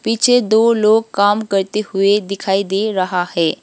नीचे दो लोग काम करते हुए दिखाई दे रहा है।